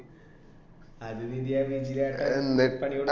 അത് പിന്നെ